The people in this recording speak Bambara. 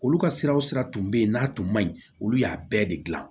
Olu ka siraw sira tun bɛ yen n'a tun ma ɲi olu y'a bɛɛ de gilan